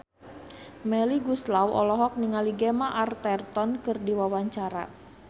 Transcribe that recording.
Melly Goeslaw olohok ningali Gemma Arterton keur diwawancara